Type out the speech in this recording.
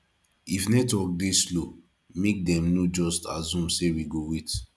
if network dey slow make dem no just assume say we go wait